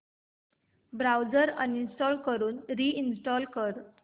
browser uninstall करून reinstall कर